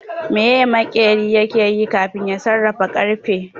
Meye maƙeri ke yi kafin ya sarrafa ƙarfe